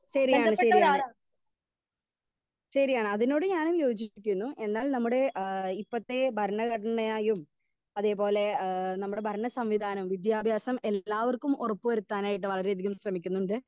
speaker 2 ശരിയാണ് ശരിയാണ് ശരിയാണ് അതിനോട് ഞാനും യോജിക്കുന്നു എന്നാൽ നമ്മുടെ ഏഹ് ഇപ്പത്തെ ഭരണ കടനയായും അതേപോലെ ഏഹ് നമ്മടെ ഭരണ സംവിധാനം വിദ്യാഭ്യാസം എല്ലാവർക്കും ഉറപ്പ് വരുത്തനായിട്ട് വളരെ അധികം ശ്രേമിക്കുന്നുണ്ട്